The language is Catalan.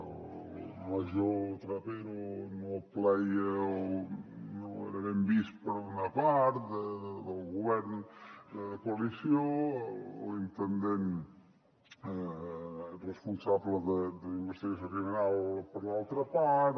el major trapero no plaïa o no era ben vist per una part del govern de coalició l’intendent responsable d’investigació criminal per l’altra part